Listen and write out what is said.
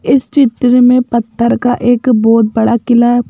इस चित्र में पत्थर का एक बहुत बड़ा किला है।